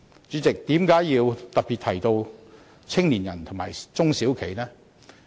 主席，為甚麼要特別提到年青人和中小企呢？